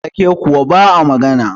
wake kuwa ba a magana